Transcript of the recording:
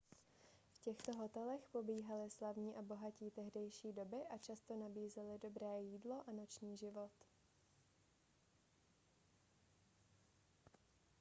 v těchto hotelech pobývali slavní a bohatí tehdejší doby a často nabízely dobré jídlo a noční život